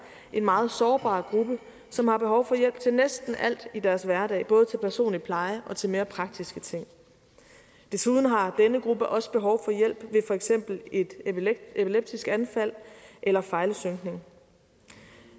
en meget sårbar gruppe som har behov for hjælp til næsten alt i deres hverdag både til personlig pleje og til mere praktiske ting desuden har denne gruppe også behov for hjælp ved for eksempel et epileptisk anfald eller fejlsynkning